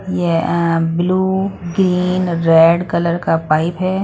यह blue green red colour का pipe है।